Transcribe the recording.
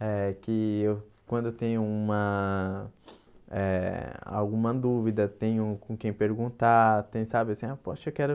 eh que eu quando tem uma eh alguma dúvida, tenho com quem perguntar, tem sabe assim, ah poxa eu quero